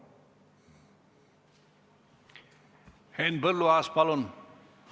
Henn Põlluaas, palun!